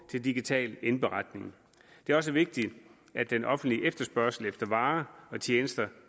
til digital indberetning det er også vigtigt at den offentlige efterspørgsel efter varer og tjenester